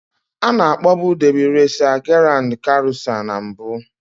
Ana akpọọbu Debị résa Giráánd karusá na mbụ